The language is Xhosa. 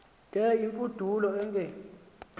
ke imfudulo angen